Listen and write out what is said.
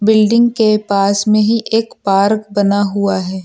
Building के पास में ही एक पार्क बना हुआ है।